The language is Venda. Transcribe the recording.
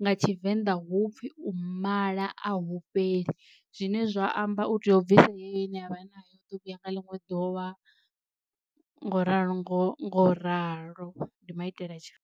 nga tshivenḓa hupfhi u mala a hu fheli zwine zwa amba u tea u bvisa heneyo ine avha nayo u ḓo vhuya nga ḽiṅwe ḓuvha nga uralo nga uralo ndi maitele a tshi.